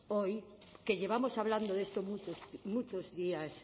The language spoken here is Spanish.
hoy que llevamos hablando de esto muchos días